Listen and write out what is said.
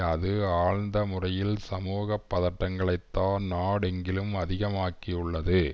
அது ஆழ்ந்த முறையில் சமூக பதட்டங்களைத்தான் நாடெங்கிலும் அதிகமாக்கியுள்ளது